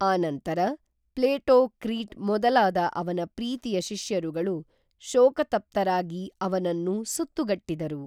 ಆ ನಂತರ ಪ್ಲೇಟೋ ಕ್ರೀಟ್‌ ಮೊದಲಾದ ಅವನ ಪ್ರೀತಿಯ ಶಿಷ್ಯರುಗಳು ಶೋಕತಪ್ತರಾಗಿ ಅವನನ್ನು ಸುತ್ತುಗಟ್ಟಿದರು